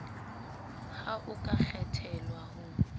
ha o ka kgethelwa ho